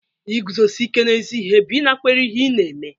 Iguzosi ike n'ezi ihe bụ ịnakwere ihe ị na-eme